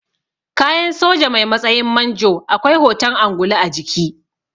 Kayan soja mai matsayin manjo akwai hoton angulu a jiki